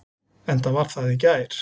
Enda var það í gær.